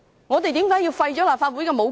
我們為何要廢除立法會的武功？